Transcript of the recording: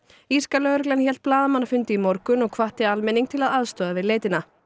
írska lögreglan hélt blaðamannafund í morgun og hvatti almenning til að aðstoða við leitina